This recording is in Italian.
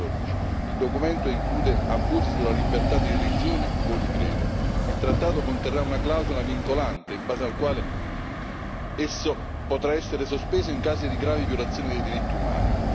2014. Il documento include abusi sulla libertà di religione o di credo. Il Trattato conterrà una clausola vincolante in base al quale esso potrà essere sospeso in casi di gravi violazioni dei diritti umani.